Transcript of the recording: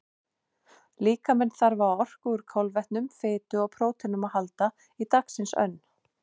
Líkaminn þarf á orku úr kolvetnum, fitu og próteinum að halda í dagsins önn.